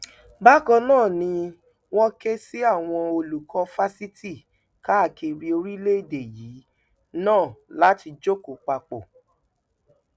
bákan náà ni wọn ké sí àwọn olùkọ fásitì káàkiri orílẹèdè yìí náà láti jókò papọ